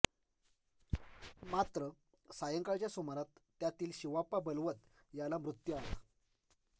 मात्र सायंकाळच्या सुमारात त्यातील शिवाप्पा बलवत याला मृत्यू आला